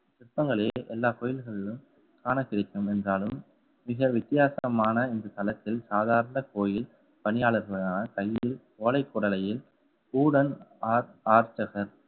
சிற்பங்களில் எல்லா கோயில்களிலும் காணக்கிடைக்கும் என்றாலும் மிக வித்தியாசமான இந்த தளத்தில் சாதாரண கோயில் பணியாளர்களான ஓலைக்குடலையில் ஊடன் ஆர்~ ஆர்ச்சகர்